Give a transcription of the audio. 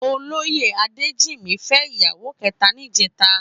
Ólóyé Adejimi fè iyàwó kètá nijètá